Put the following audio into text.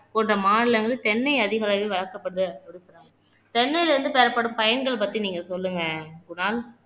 போன்ற மாநிலங்களில் தென்னை அதிக அளவில் வளர்க்கப்படுது சொல்றங்க தென்னையிலிருந்து பெறப்படும் பயன்கள் பத்தி நீங்க சொல்லுங்க குணால்